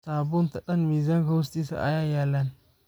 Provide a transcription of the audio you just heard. Sabunta dhaan mizka hostisa ayaa yalan.